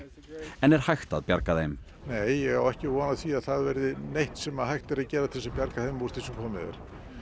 en er hægt að bjarga þeim nei ég á ekki von á því að það verði neitt sem hægt er að gera til að bjarga þeim úr því sem komið er